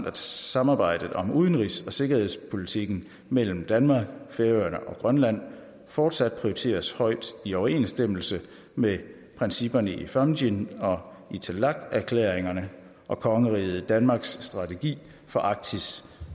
at samarbejdet om udenrigs og sikkerhedspolitikken mellem danmark færøerne og grønland fortsat prioriteres højt i overensstemmelse med principperne i fámjin og itilleqerklæringerne og kongeriget danmarks strategi for arktis